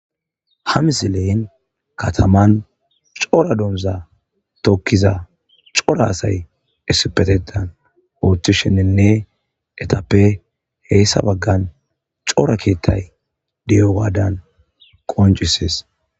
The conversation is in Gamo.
hamisileyin kataman cora donza tokkiza cora asay essipetetan oothi shenninne etappe heyssa baggan cora keettay diyo waadan qoncisees